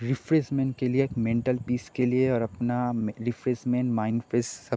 refreshment के लिए एक मेंटल पिश के लिए ओर अपना रिफ्रेशमेंट माइन्ड फ्रेश सब --